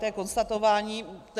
To je konstatování faktu.